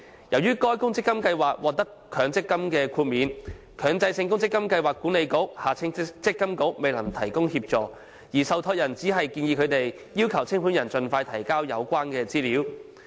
由於該公積金計劃獲強積金豁免，強制性公積金計劃管理局未能提供協助，而受託人只建議他們要求清盤人盡快提交有關資料。